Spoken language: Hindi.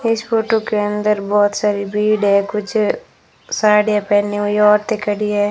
इस फोटो के अंदर बहोत सारी भीड़ है कुछ साड़ियां पहनी हुई औरतें खड़ी हैं।